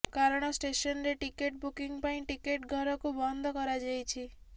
କାରଣ ଷ୍ଟେସନରେ ticket booking ପାଇଁ ଟିକେଟ ଘରକୁ ବନ୍ଦ କରାଯାଇଛି